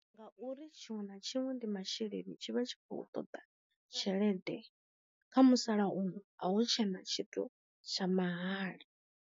Ngauri tshiṅwe na tshiṅwe ndi masheleni tshi vha tshi khou ṱoḓa tshelede kha musalauno uno a hu tshena tshithu tsha mahala.